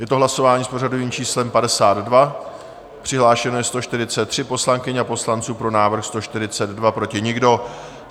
Je to hlasování s pořadovým číslem 52, přihlášeno je 143 poslankyň a poslanců, pro návrh 142, proti nikdo.